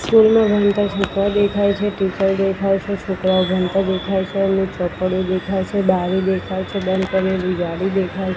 school મા ભણતા છોકરા દેખાઈ છે ટીચર દેખાઇ છે છોકરાઓ ભણતા દેખાઈ છે એમની ચોપડી દેખાઈ છે બારી દેખાઈ છે બંધ કરેલી જારી દેખાઈ--